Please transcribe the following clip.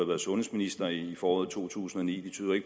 været sundhedsminister i foråret to tusind og ni